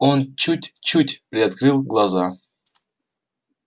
он чуть-чуть приоткрыл глаза